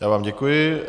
Já vám děkuji.